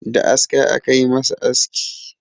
Da aska aka yi masa aski